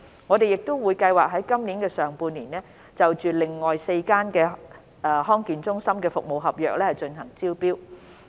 我們亦計劃在今年上半年內，就另外4間地區康健中心的服務合約進行招標。